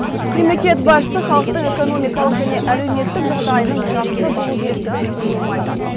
мемлекет басшысы халықтың экономикалық және әлеуметтік жағдайының жақсы болу керектігін үнемі айтады